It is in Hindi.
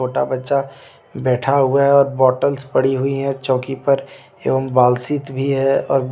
छोटा बच्चा बैठा हुआ है और बॉटल्स पड़ी हुई है चौकी पर एवं बालसीत भी है और ब्ले--